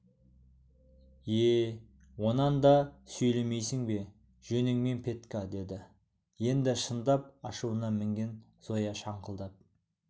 е онан да сөйлемейсің бе жөніңмен петька деді енді шындап ашуына мінген зоя шаңқылдап